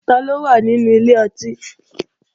Taló wà nínú ilé ọtí?